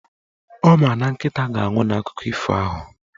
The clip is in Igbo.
Ọ ma na Nkịta ga-anwụ n'akụkọ ifo ahụ